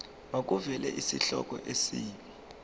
makuvele isihloko isib